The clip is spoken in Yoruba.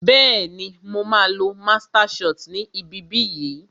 Bẹẹni, máa á lo master shit ni ibi bí yìí